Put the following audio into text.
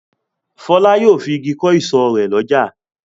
Fọlá yóò fi igi kọ́ ìsọ̀ rẹ̀ lọ́jà.